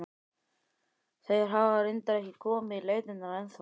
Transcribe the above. Þeir hafa reyndar ekki komið í leitirnar ennþá.